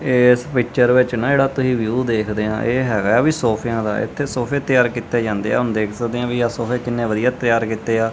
ਏਸ ਪਿੱਚਰ ਵਿੱਚ ਨਾ ਜਿਹੜਾ ਤੁਹੀ ਵਿਊ ਦੇਖਦੇ ਆਂ ਇਹ ਹੈਗਾ ਐ ਵਈ ਸੋਫ਼ੇਆਂ ਦਾ ਇੱਥੇ ਸੋਫ਼ੇ ਤਿਆਰ ਕੀਤੇ ਜਾਂਦੇ ਆਂ ਹੁਣ ਦੇਖ ਸਕਦੇ ਆਂ ਵਈ ਆਹ ਸੋਫ਼ੇ ਕਿੰਨੇ ਵਧੀਆ ਤਿਆਰ ਕੀਤੇ ਆ।